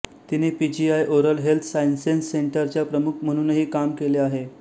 तिने PGI oral health sciences सेंटरच्या प्रमुख म्हणूनही काम केले